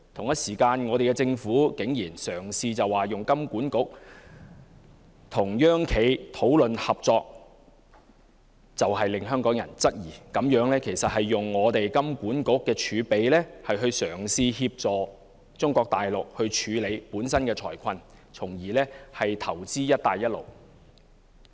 可是，我們的政府竟然於此時嘗試由金管局與"央企"討論合作，實令香港人質疑，此舉是以金管局的儲備嘗試協助中國大陸處理本身的財困，從而投資"一帶一路"。